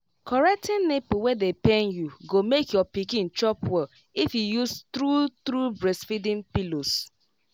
correcting nipple wey dey pain you go make your pikin chop well if you use true true breastfeeding pillows